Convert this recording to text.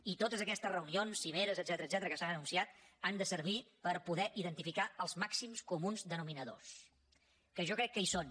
i totes aquestes reunions cimeres etcètera que s’han anunciat han de servir per poder identificar els màxims comuns denominadors que jo crec que hi són